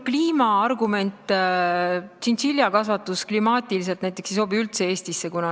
Kliimaargumendi kohta ütlen, et näiteks tšintšiljakasvatus ei sobi klimaatiliselt Eestisse üldse.